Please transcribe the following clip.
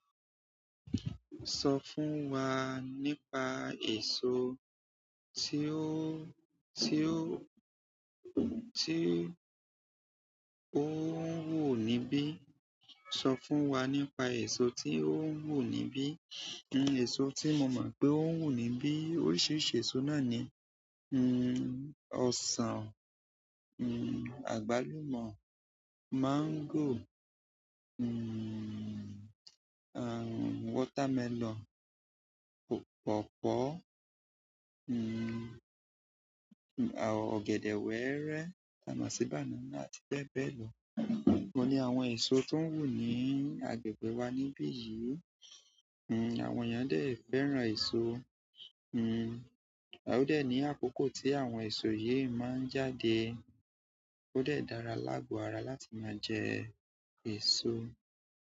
Sọ fún wa nípa èso tí ó, tí ó, tí ó ń wù níbí. Sọ fún wa nípa èso tí ó ń wù níbí? Ẹ̀so tí mo mọ̀ pé ó ń wù níbí oríṣiríṣi èso náà ni, un, ọsàn, un, àgbálùmọ́, mango, un, aah, watermelon, pọ̀pọ́, un, a, ọ̀gẹ̀dẹ̀ wẹ́ẹ́rẹ́, tàmọ́ sí banana àti bẹ́ẹ̀ bẹ́ẹ̀ lọ. Wọ́n ni àwọn èso tó ń wù ní agbègbè wa níbí yìí. Un, àwọn yàn dé fẹ́ràn èso. Un, ó dẹ̀ ní àkókò tí àwọn èso yìí máa ń jáde, ó dẹ̀ dára lágo ara láti máa jẹ èso.